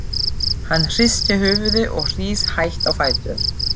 Hann hristir höfuðið og rís hægt á fætur.